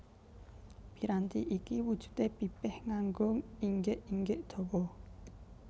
Piranti iki wujudé pipih nganggo inggik inggik dawa